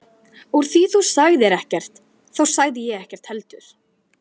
Úr því þú sagðir ekkert þá sagði ég ekkert heldur.